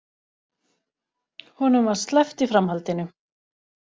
Honum var sleppt í framhaldinu